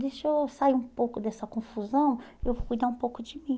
Deixa eu sair um pouco dessa confusão e eu vou cuidar um pouco de mim.